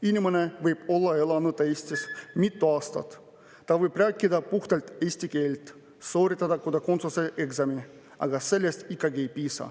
Inimene võib olla elanud Eestis mitu aastat, ta võib rääkida puhtalt eesti keelt, sooritada kodakondsuse eksami, aga sellest ikkagi ei piisa.